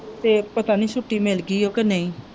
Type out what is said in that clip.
ਅਤੇ ਪਤਾ ਨਹੀਂ ਛੁੱਟੀ ਮਿਲ ਗਈ ਹੈ ਕਿ ਨਹੀਂ